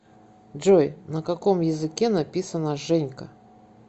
джой на каком языке написано женька